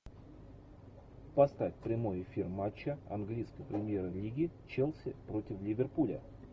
поставь прямой эфир матча английской премьер лиги челси против ливерпуля